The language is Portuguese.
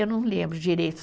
Eu não lembro direito.